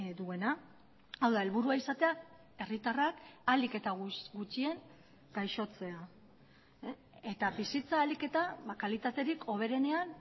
duena hau da helburua izatea herritarrak ahalik eta gutxien gaixotzea eta bizitza ahalik eta kalitaterik hoberenean